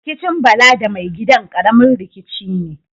Rikicin Bala da mai gidan, ƙaramin rikici ne.